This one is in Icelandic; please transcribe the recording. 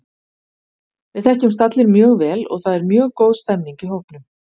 Við þekkjumst allir mjög vel og það er mjög góð stemning í hópnum.